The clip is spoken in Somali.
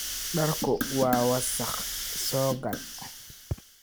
Dharku waa wasakh, soo gal.